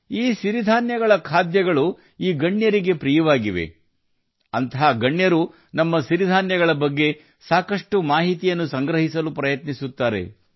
ಈ ಮಹನೀಯರು ಅವುಗಳ ಆಹಾರವನ್ನು ತುಂಬಾ ಆನಂದಿಸಿದ್ದಾರೆ ಮತ್ತು ಅವರು ನಮ್ಮ ಸಿರಿ ಧಾನ್ಯಗಳ ಬಗ್ಗೆ ಸಾಕಷ್ಟು ಮಾಹಿತಿಯನ್ನು ಸಂಗ್ರಹಿಸಲು ಪ್ರಯತ್ನಿಸಿದ್ದಾರೆ